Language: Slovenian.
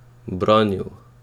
Branil?